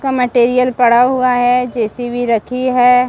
का मटेरियल पड़ा हुआ है जे_सी_बी रखी हैं |